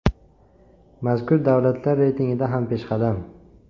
Mazkur davlatlar reytingda ham peshqadam.